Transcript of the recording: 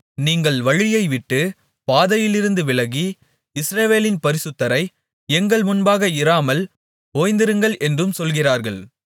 நீங்கள் வழியை விட்டு பாதையிலிருந்து விலகி இஸ்ரவேலின் பரிசுத்தரை எங்கள் முன்பாக இராமல் ஓய்ந்திருங்கள் என்றும் சொல்கிறார்கள்